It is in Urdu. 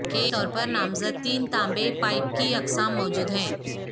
کے طور پر نامزد تین تانبے پائپ کی اقسام موجود ہیں